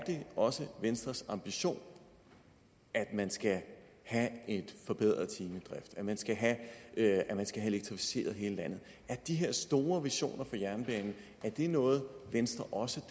det også er venstres ambition at man skal have en forbedret timedrift at man skal have elektrificeret hele landet er de her store visioner for jernbanen noget venstre også